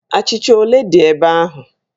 Achịcha ole dị ebe ahụ?